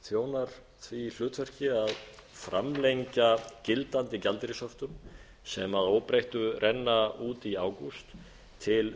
þjónar því hlutverki að framlengja gildandi gjaldeyrishöftum sem að óbreyttu renna út í ágúst til